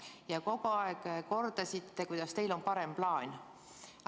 Ja kogu aeg kordasite, et teil on parem plaan.